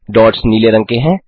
dots नीले रंग के हैं